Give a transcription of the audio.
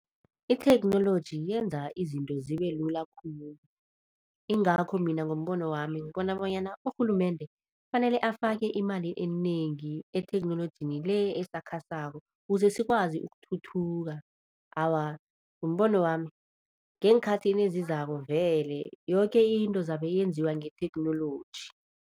Itheknoloji yenza izinto zibe lula khulu, ingakho mina ngombono wami ngibona bonyana urhulumende kufanele afake imali enengi etheknolojini le esakhasako kuze sikwazi ukuthuthuka. Awa, ngombono wami ngeenkhathini ezizako vele yoke into zabe yenziwa ngetheknoloji.